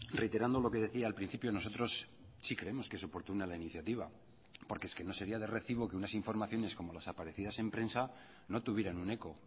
reiterando lo que decía al principio nosotros sí creemos que es oportuna la iniciativa porque es que no sería de recibo que unas informaciones como las aparecidas en prensa no tuvieran un eco